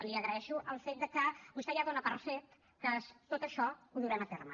li agraeixo el fet de que vostè ja dona per fet que tot això ho durem a terme